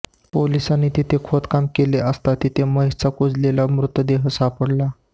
पोलिसांनी तिथे खोदकाम केले असता तिथे महेशचा कुजलेला मृतदेह सापडला